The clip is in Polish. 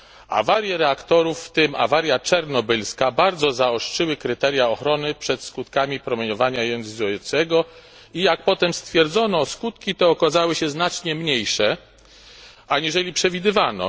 Awarie reaktorów, w tym awaria czarnobylska, bardzo zaostrzyły kryteria ochrony przed skutkami promieniowania jonizującego i jak potem stwierdzono, skutki te okazały się znacznie mniejsze, aniżeli przewidywano.